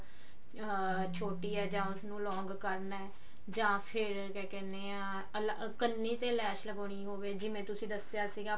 ਹਾਂ ਛੋਟੀ ਹੈ ਉਸ ਨੂੰ long ਕਰਨਾ ਜਾਂ ਫ਼ੇਰ ਕਿਆ ਕਹਿਨੇ ਹਾਂ ਕੰਨੀ ਤੇ ਲੈਸ ਲਗਾਉਣੀ ਹੋਵੇ ਤੁਸੀਂ ਦੱਸਿਆ ਸੀਗਾ